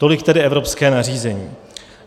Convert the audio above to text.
Tolik tedy evropské nařízení.